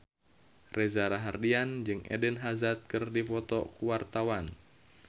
Reza Rahardian jeung Eden Hazard keur dipoto ku wartawan